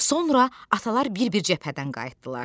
Sonra atalar bir-bir cəbhədən qayıtdılar.